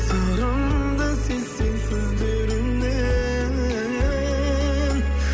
сырымды сезсең сөздерімнен